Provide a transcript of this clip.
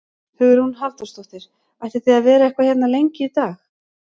Hugrún Halldórsdóttir: Ætlið þið að vera eitthvað hérna lengi í dag?